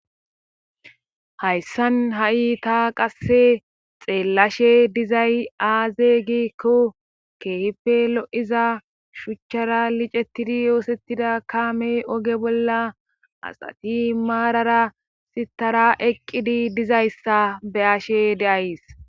Hayssan ha7i ta qasse xeellashe dizay aaze giikko Keehippe lo7iza shuchara licettidi oosettida kaamey oge bolla asati maarara sittara eqqidi dizayssa be7ashe de7ays.